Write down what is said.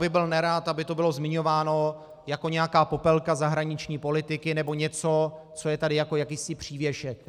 Byl bych nerad, aby to bylo zmiňováno jako nějaká popelka zahraniční politiky nebo něco, co je tady jako jakýsi přívěšek.